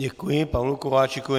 Děkuji Pavlu Kováčikovi.